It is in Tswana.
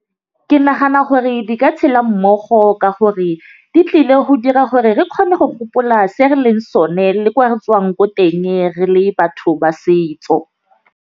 Ke nagana gore di ka tšhela mmogo ka gore di tlile go dira gore re kgone go gopola se re leng sone le ko re tswang ko teng re le batho ba setso.